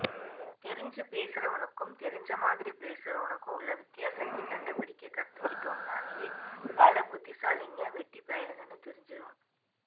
தெரிஞ்சி பேசறவனுக்கும் தெரிஞ்சமாதிரி பேசறவனுக்கும் உள்ள வித்யாசத்த கண்டுபிடிக்க கத்துகிட்டம்னாலே பல புத்திசாலிங்க வெட்டிபயலுகனு புரிஞ்சிரும்